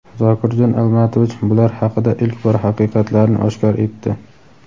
Zokirjon Almatovich bular haqida ilk bor haqiqatlarni oshkor etdi.